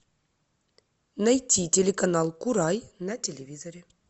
найти телеканал курай на телевизоре